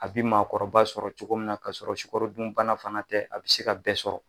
A bi maakɔrɔba sɔrɔ cogo min na k'a sɔrɔ sukarodunbana fana tɛ a be se ka bɛɛ sɔrɔ